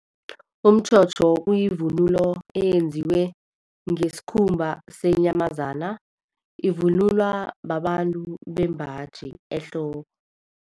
Umtjhotjho kuyivunulo eyenziwe ngesikhumba senyamazana, ivunulwa babantu bembaji ehloko.